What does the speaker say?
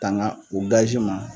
Tanga o gazi ma